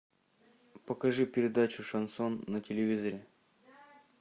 покажи передачу шансон на телевизоре